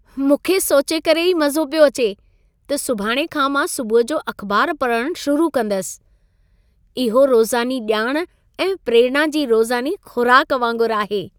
मूंखे सोचे करे ई मज़ो पियो अचे त सुभाणे खां मां सुबुह जो अख़बार पढ़ण शुरु कंदसि। इहो रोज़ानी ॼाण ऐं प्रेरणा जी रोज़ानी खु़राक वांगुर आहे।